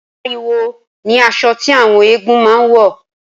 Màrìwò ni asọ tí àwọn eégún máa ń wọ̀